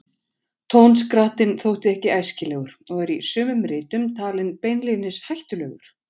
Tónskrattinn þótti ekki æskilegur og er í sumum ritum talinn beinlínis hættulegur.